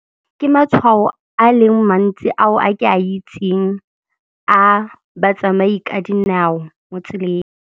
Ke matshwao a leng mantsi ao a ke a itseng a batsamai ka dinao mo tseleng.